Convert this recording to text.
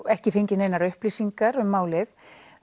ekki fengið neinar upplýsingar um málið